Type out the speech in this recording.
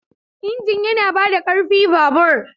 Injin yana ba da ƙarfi babur.